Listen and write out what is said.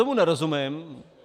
Tomu nerozumím.